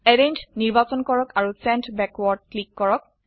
arrange নিৰ্বাচন কৰক আৰু চেণ্ড বেকৱাৰ্ড ক্লিক কৰক